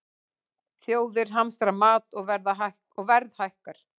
Þjóðir hamstra mat og verð hækkar